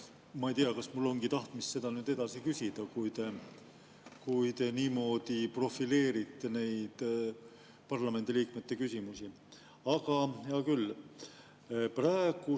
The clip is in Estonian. Ma ei teagi, kas mul on tahtmist edasi küsida, kui te niimoodi profileerite neid parlamendiliikmete küsimusi, aga hea küll.